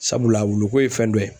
Sabula wulu ko ye fɛn dɔ ye